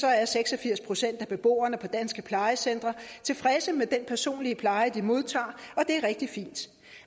er seks og firs procent af beboerne på danske plejecentre tilfredse med den personlige pleje de modtager og det er rigtig fint